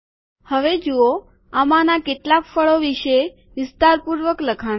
હવે જુઓ આમાંના કેટલાક ફળો વિશે વિસ્તારપૂર્વક લખાણ છે